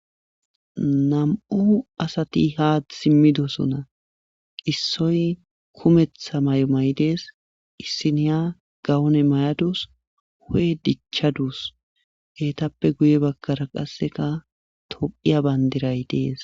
nam7u asati haad simmidosuna qissoy kumetha may7o may7i dees issiniya gawone mayadus hu7e dichchaduus heetappe guye bakkara qasseka tophiya bandiray dees